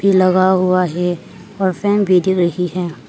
भी लगा हुआ है और फैन भी दिख रही है।